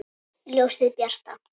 Ljósið bjarta!